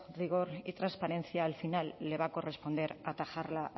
rigor y transparencia al final le va a corresponder atajarla